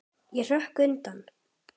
Ég hrökk undan.